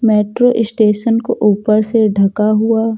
metro station को ऊपर से ढका हुआ--